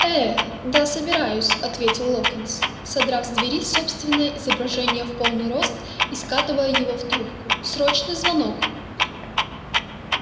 э да собираюсь ответил локонс содрав с двери собственное изображение в полный рост и скатывая его в трубку срочный звонок